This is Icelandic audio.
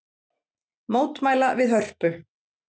Mótmæla við Hörpu